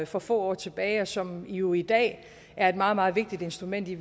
for få år tilbage og som jo i dag er et meget meget vigtigt instrument i